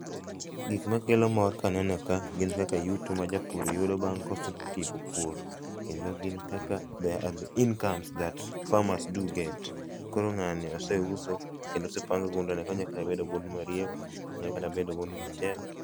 Gikma kelo mor kaneno ka gin kaka yuto ma japur yudogo bang' kosetieko pur kendo gin kaka ,they are the incomes that farmers do get. Koro ngani oseuso kendo osepang' gundene, onyalo kata bedo gunde mariewa, onya kata bedo gunde mchele.